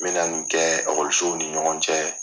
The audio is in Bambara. Me na nin kɛ ɔkɔlisow ni ɲɔgɔn cɛ.